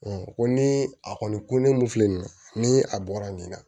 ko ni a kɔni ko ne mun filɛ nin ye ni a bɔra nin na